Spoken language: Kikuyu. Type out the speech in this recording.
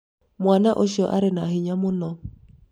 mwana ũcio arĩ na hĩnya mũno